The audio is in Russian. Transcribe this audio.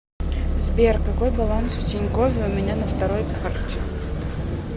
сбер какой баланс в тинькове у меня на второй карте